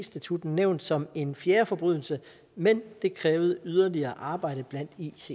statutten nævnt som en fjerde forbrydelse men det krævede yderligere arbejde blandt icc